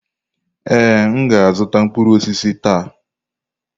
Ee, m ga-azụta mkpụrụ osisi taa.